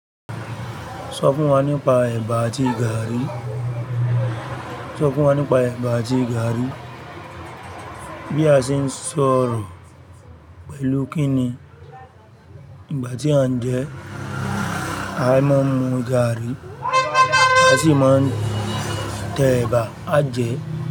Sọ fún wa nípa ẹ̀bà àti gààrí. Sọ fún wa nípa ẹ̀bà àti gààrí. Bí a ṣe ń sọ̀rọ̀ pẹ̀lú kí ni? Ìgbà tí à ń jẹ, a máa ń mu gààrí, a sì máa tẹ ẹ̀bà, á jẹ.